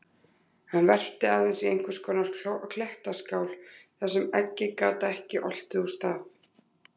Hann verpti aðeins í einhvers konar klettaskál þar sem eggið gat ekki oltið úr stað.